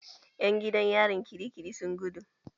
Ƴan gidan yarin kirikiri sun gudu.